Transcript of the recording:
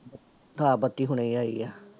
ਹਾਂ ਬੱਤੀ ਹੁਣੇ ਆਈ ਆ।